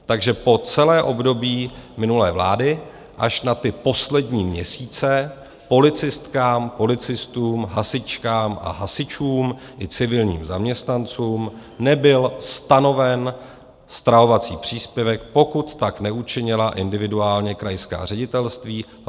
Takže po celé období minulé vlády, až na ty poslední měsíce, policistkám, policistům, hasičkám a hasičům i civilním zaměstnancům nebyl stanoven stravovací příspěvek, pokud tak neučinila individuálně krajská ředitelství.